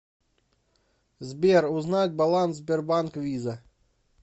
сбер узнать баланс сбербанк виза